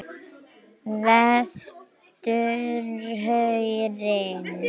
Vesturhrauni